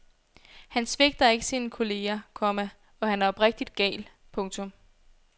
Han svigter ikke sine kolleger, komma og han er oprigtigt gal. punktum